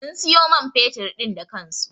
Sun siyo man fetur din da kansu.